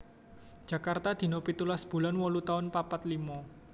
Jakarta dina pitulas bulan wolu taun papat limo